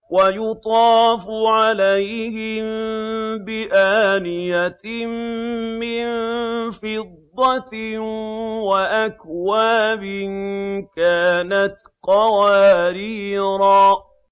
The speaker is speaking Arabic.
وَيُطَافُ عَلَيْهِم بِآنِيَةٍ مِّن فِضَّةٍ وَأَكْوَابٍ كَانَتْ قَوَارِيرَا